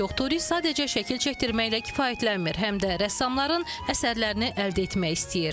Bir çox turist sadəcə şəkil çəkdirməklə kifayətlənmir, həm də rəssamların əsərlərini əldə etmək istəyir.